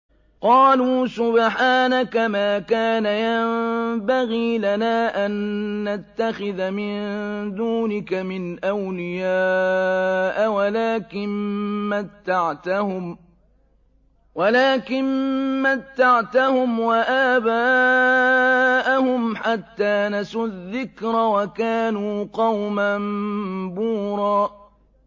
قَالُوا سُبْحَانَكَ مَا كَانَ يَنبَغِي لَنَا أَن نَّتَّخِذَ مِن دُونِكَ مِنْ أَوْلِيَاءَ وَلَٰكِن مَّتَّعْتَهُمْ وَآبَاءَهُمْ حَتَّىٰ نَسُوا الذِّكْرَ وَكَانُوا قَوْمًا بُورًا